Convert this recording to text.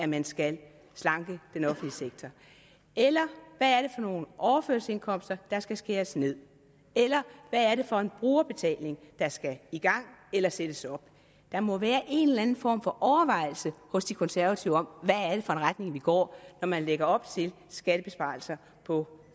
man skal slanke den offentlige sektor eller hvad er det for nogen overførselsindkomster der skal skæres ned eller hvad er det for en brugerbetaling der skal i gang eller sættes op der må være en eller anden form for overvejelse hos de konservative om hvad det er for en retning man går i når man lægger op til skattebesparelser på